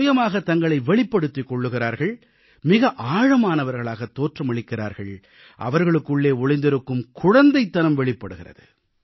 சுயமாகத் தங்களை வெளிப்படுத்திக் கொள்கிறார்கள் மிக ஆழமானவர்களாகத் தோற்றமளிக்கிறார்கள் அவர்களுக்குள்ளே ஒளிந்திருக்கும் குழந்தைத்தனம் வெளிப்படுகிறது